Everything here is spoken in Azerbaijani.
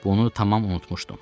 Bunu tamam unutmuşdum.